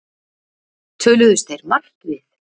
Töluðust þeir margt við